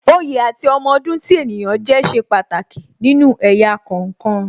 Oyè àti ọmọ ọdún tí ènìyàn jẹ́ ṣe pàtàkì nínú ẹ̀yà kọ̀ọ̀kan